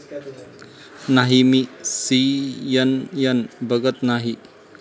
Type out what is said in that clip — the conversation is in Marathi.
नाही, मी सीएनएन बघत नाही.